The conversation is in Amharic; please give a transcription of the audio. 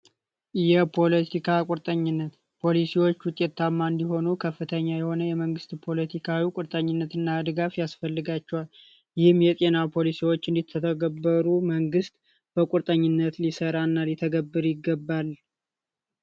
የፖለቲካ ቁርጠኝነት ፖሊሲዎች ውጤታማ እንዲሆኑ ከፍተኛ የሆነ የመንግስት ፖለቲካዊ ቁርጠኝነት ያስፈልጋቸዋል ይህም የጤና ፖሊሲዎች እንዲተገበሩ መንግት በቁርጠኝነት ሊሰራ እና ሊተገብር ይገባል።